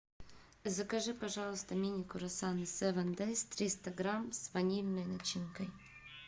закажи пожалуйста мини круассаны севен дэйс триста грамм с ванильной начинкой